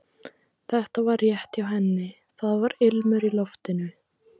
Þetta var rétt hjá henni, það var ilmur í loftinu.